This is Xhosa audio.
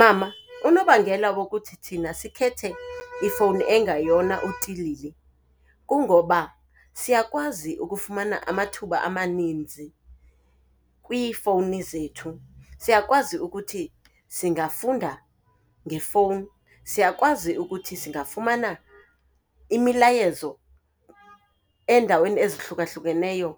Mama, unobangela wokuthi thina sikhethe ifowuni engayona utilili kungoba siyakwazi ukufumana amathuba amaninzi kwiifowuni zethu. Siyakwazi ukuthi singafunda ngefowuni, siyakwazi ukuthi singafumana imilayezo endaweni ezihlukahlukeneyo